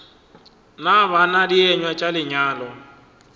na bana dienywa tša lenyalo